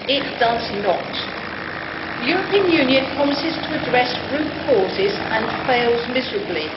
It does not. The European Union promises to address root causes and fails miserably.